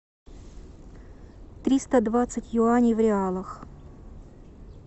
триста двадцать юаней в реалах